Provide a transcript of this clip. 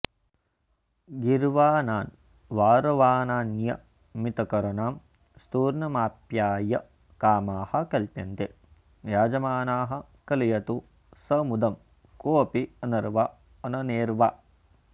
गीर्वाणान्वारवाणान्नियमितकरणां स्तूर्णमाप्याय्य कामाः कल्प्यन्ते याजमानाः कलयतु स मुदं कोऽप्यनर्वाऽऽननेऽर्वा